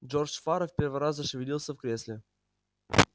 джордж фара в первый раз зашевелился в кресле